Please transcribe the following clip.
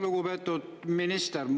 Lugupeetud minister!